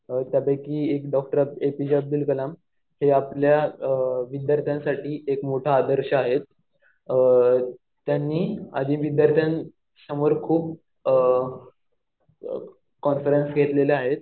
त्यापैकी एक doctor APJ Abdul Kalam. ते आपल्या विद्यार्थ्यांसाठी एक मोठा आदर्श आहेत. त्यांनी आधी विद्यार्थ्यांसमोर खूप कॉन्फरन्स घेतलेल्या आहेत.